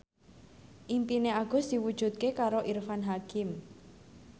impine Agus diwujudke karo Irfan Hakim